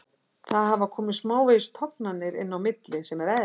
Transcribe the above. Það hafa komið smávegis tognanir inn á milli sem er eðlilegt.